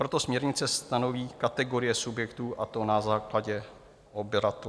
Proto směrnice stanoví kategorie subjektů, a to na základě obratu.